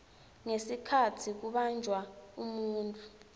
ngesikhatsi kubanjwa umuntfu